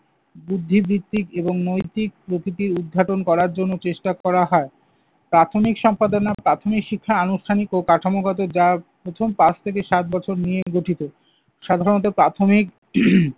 বুদ্ধিভিত্তিক এবং নৈতিক প্রকৃতি উদ্ঘাটন করার জন্য চেষ্টা করা হয়। প্রাথমিক সম্পাদনা, প্রাথমিক শিক্ষা আনুষ্ঠানিক ও কাঠামোগত যার প্রথম পাঁচ থেকে সাত বছর নিয়ে গঠিত। সাধারণত প্রাথমিক